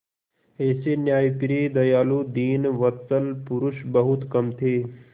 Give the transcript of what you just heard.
ऐसे न्यायप्रिय दयालु दीनवत्सल पुरुष बहुत कम थे